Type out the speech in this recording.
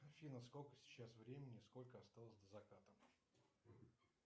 афина сколько сейчас времени сколько осталось до заката